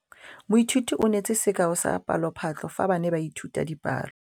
Moithuti o neetse sekaô sa palophatlo fa ba ne ba ithuta dipalo.